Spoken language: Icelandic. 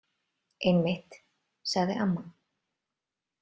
Einmitt, sagði amma.